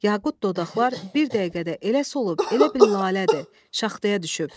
Yaqut dodaqlar bir dəqiqədə elə solub, elə bil lalədir, şaxtaya düşüb.